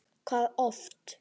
Hvað oft?